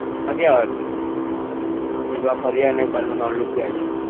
ફરી આવાનું